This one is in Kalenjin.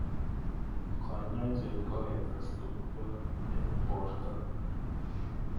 Kanyoiset ko ketes tukjot eng borto.